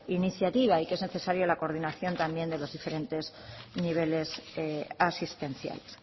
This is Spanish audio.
iniciativa y que es necesaria la coordinación también de los diferentes niveles asistenciales